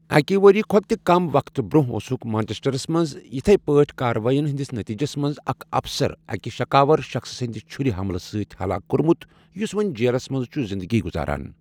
اَکہِ ؤریہِ کھۄتہٕ تہِ کم وقتہٕ برٛونٛہہ اوسُکھ مانچسٹرَس منٛز یِتھی پٲٹھۍ کارروٲیین ہٕنٛدِس نٔتیٖجس منٛز اکھ اَفسَر اَکہِ شکاوَر شخٕص سٕنٛدِ چھرِ حملہٕ سۭتۍ ہلاک کوٚرمُت یُس وۄنۍ جیلس منٛز چھُ زِنٛدٕگی گُزاران۔